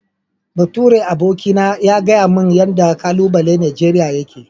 Baturen aboki na ya gayamin yanda kalubalai Nigeria yake.